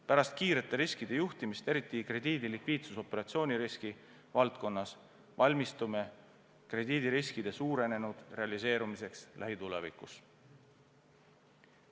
Pärast kiirete riskide juhtimist, eriti krediidilikviidsusoperatsiooni riski valdkonnas, valmistume krediidiriskide suurenenud realiseerumiseks lähitulevikus.